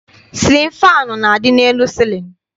Sịlịn faanụ na-adị n'elu cịlịn.